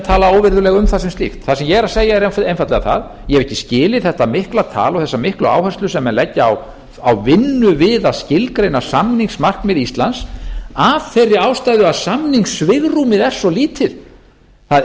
tala óvirðulega um það sem slíkt það sem ég er að segja er einfaldlega það ég hef ekki skilið þetta mikla tal og þessa miklu áherslu sem menn leggja á vinnu við að skilgreina samningsmarkmið íslands af þeirri ástæðu að samningssvigrúmið er svo lítið það